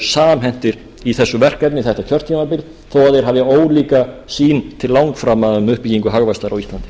samhentir í þessu verkefni þetta kjörtímabil þó að þeir hafi ólíka sýn til langframa um uppbyggingu hagvaxtar á íslandi